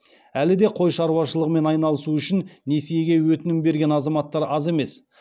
әлі де қой шаруашылығымен айналысу үшін несиеге өтінім берген азаматтар аз емес